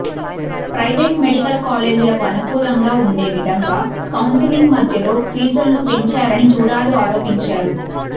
private medical కాలేజీలకు అనుకూలంగా ఉండేవిధంగా కౌన్సెలింగ్ మధ్యలో ఫీజులను పెంచారని జుడాలు ఆరోపించారు